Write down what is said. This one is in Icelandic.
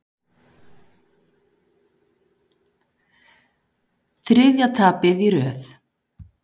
Þriðja tapið í röð